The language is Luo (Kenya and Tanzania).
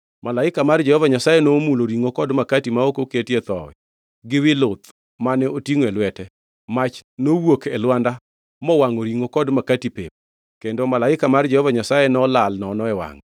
Malaika mar Jehova Nyasaye nomulo ringʼo kod makati ma ok oketie thowi gi wi luth mane otingʼo e lwete. Mach nowuok e lwanda, mowangʼo ringʼo kod makati pep. Kendo malaika mar Jehova Nyasaye nolal nono e wangʼe.